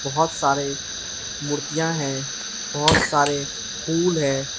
बहुत सारे मूर्तियां है बहुत सारे फूल हैं।